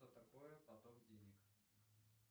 что такое поток денег